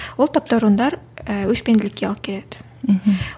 ол таптауырындар ііі өшпенділікке алып келеді мхм